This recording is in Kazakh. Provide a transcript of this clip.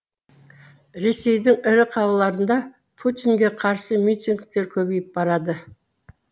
ресейдің ірі қалаларында путинге қарсы митингтер көбейіп барады